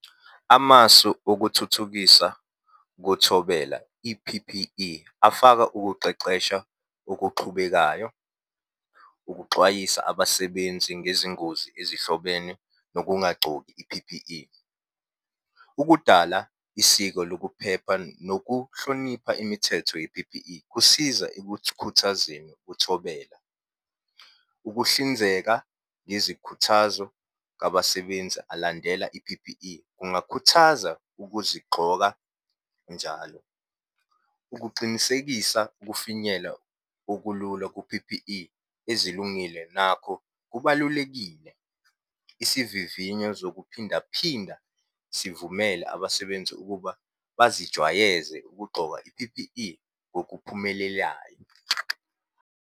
Amasu okuthuthukisa kuthobela, i-P_P_E, afaka ukuqeqesha okuxhubekayo ukuxwayisa abasebenzi ngezingozi ezihlobene nokungagcoki i-P_P_E. Ukudala isiko lokuphepha nokuhlonipha imithetho ye-P_P_E kusiza ekukhuthazeni uthobela. Ukuhlinzeka ngezikhuthazo kwabasebenzi alandela i-P_P_E, kungakhuthaza ukuzigxoka njalo. Ukuqinisekisa ukufinyela okulula ku-P_P_E ezilungile nakho kubalulekile isivivinyo zokuphinda phinda sivumele abasebenzi ukuba bazijwayeze ukugqoka i-P_P_E ngokuphumelelayo.